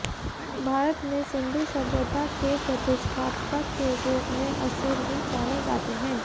भारत में सिन्धु सभ्यता के प्रतिष्ठापक के रूप में असुर ही जाने जाते हैं